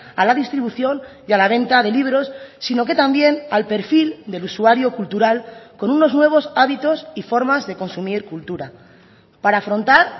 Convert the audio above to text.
a la distribución y a la venta de libros sino que también al perfil del usuario cultural con unos nuevos hábitos y formas de consumir cultura para afrontar